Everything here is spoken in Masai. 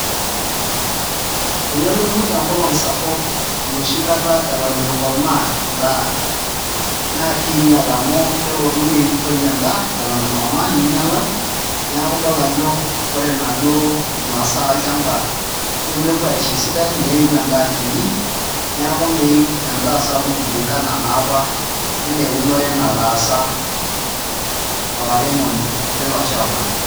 Tenelotu enkolong' sapuk enoshi kata eton itu ikomaa endaa naa kiinyial amu kelo niitoi endaa eton itu ikomaa niinyiala, neeku idol ajo ore inaduo masaa olchamba nemepuo aisho esidai neeiu endaa kinyi neeku meeiu endaa sapuk kulingana naa apa enaa eunore nataasa olairemoni lilo shamba.